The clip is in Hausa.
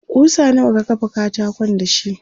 kusa nawa ka kafa katakon dashi?